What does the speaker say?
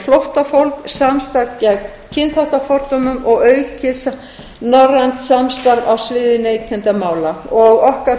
flóttafólk samstarf gegn kynþáttafordómum og aukið norrænt samstarf á sviði neytendamála okkar